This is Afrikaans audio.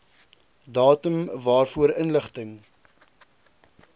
datum waarvoor inligting